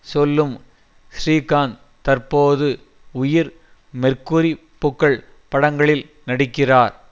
சொல்லும் ஸ்ரீகாந்த் தற்போது உயிர் மெர்க்குரி பூக்கள் படங்களில் நடிக்கிறார்